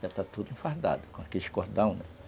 Já está tudo enfardado, com aqueles cordão, né?